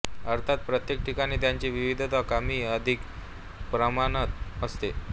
अर्थात प्रत्येक ठिकाणी त्यांची विविधता कमी अधिक प्रमाणात असते